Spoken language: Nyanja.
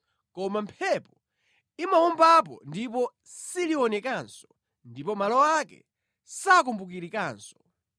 koma mphepo imawombapo ndipo silionekanso ndipo malo ake sakumbukirikanso.